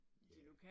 Ja